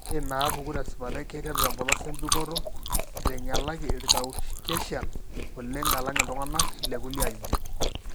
Ore inaapuku tesipata keiteru tempolos embikoto, eitanyalaki ircaucasians oleng alang iltung'anak lekulie ajijik.